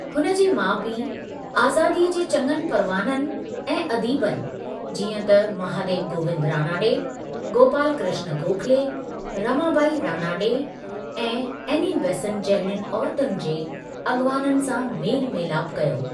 हुन जे माउ पीउ आज़ादीअ जे चङनि परवाननि ऐं अदीबनि जीअं त महादेव गोविंद रानाडे, गोपाल कृष्ण गोखले, रमाबाई रानाडे ऐं एनी बेसेंट जहिड़युनि औरतुनि जे अॻुवाननि सां मेलु मेलापु कयो।